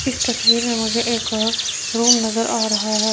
इस तस्वीर में मुझे एक रूम नजर आ रहा है।